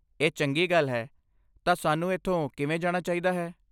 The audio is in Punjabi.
ਇਹ ਚੰਗੀ ਗੱਲ ਹੈ। ਤਾਂ ਸਾਨੂੰ ਇੱਥੋਂ ਕਿਵੇਂ ਜਾਣਾ ਚਾਹੀਦਾ ਹੈ?